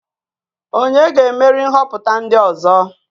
Onye ga-emeri nhoputa ndi ozo?